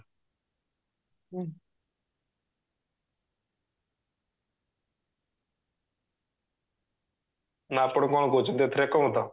ଆପଣ କଣ କହୁଛନ୍ତି ଏଥିରେ ଏକମତ